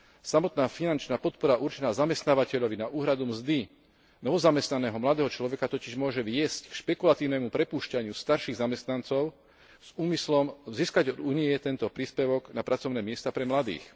Samotná finančná podpora určená zamestnávateľovi na úhradu mzdy novozamestnaného mladého človeka totiž môže viesť k špekulatívnemu prepúšťaniu starších zamestnancov s úmyslom získať od Únie tento príspevok na pracovné miesta pre mladých.